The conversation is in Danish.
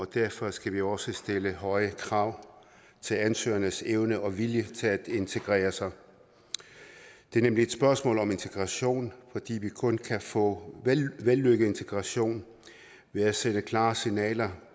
derfor skal vi også stille høje krav til ansøgernes evne og vilje til at integrere sig det er nemlig et spørgsmål om integration fordi vi kun kan få vellykket integration ved at sende klare signaler